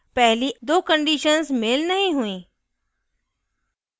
पहली दो conditions मेल नहीं हुई